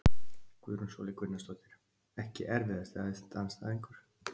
Guðrún Sóley Gunnarsdóttir Ekki erfiðasti andstæðingur?